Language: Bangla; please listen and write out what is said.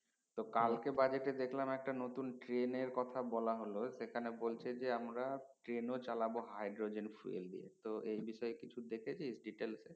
তো কালকে budget দেখলাম একটা নতুন train এর কথা বলা হলো সেখানে বলচ্ছে যে আমরা train ও চালাবো hydrogen fuel দিয়ে তো এই বিষয় কিছু দেখেছিস detail এ